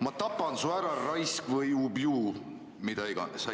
"Ma tapan su ära, raisk!" või "Ubju!" või mida iganes.